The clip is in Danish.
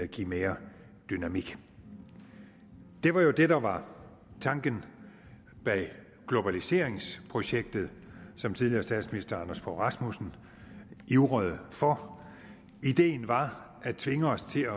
give mere dynamik det var jo det der var tanken bag globaliseringsprocessen som tidligere statsminister anders fogh rasmussen ivrede for ideen var at tvinge os til